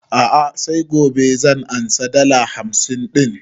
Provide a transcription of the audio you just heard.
A'a sai gobe zan ansa dala hamsin ɗin